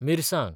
मिरसांग